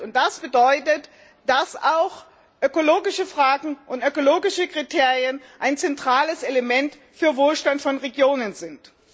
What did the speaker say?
Und das bedeutet, dass auch ökologische Fragen und ökologische Kriterien ein zentrales Element für Wohlstand von Regionen sind.